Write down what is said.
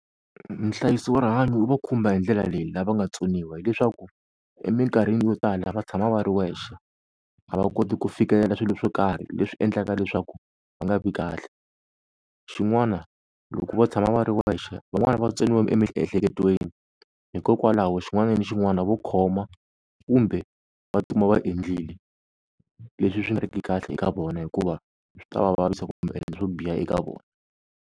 Nhlayiso wa rihanyo wu va khumba hi ndlela leyi lava nga tsoniwa hileswaku eminkarhini yo tala va tshama va ri wexe a va koti ku fikelela swilo swo karhi leswi endlaka leswaku va nga vi kahle, xin'wana loko va tshama va ri wexe van'wani va tsoniwe emiehleketweni hikokwalaho xin'wana ni xin'wana vo khoma kumbe va tikuma va endlile, leswi swi nga ri ki kahle eka vona hikuva swi ta va vavisa kumbe swo biha eka vona.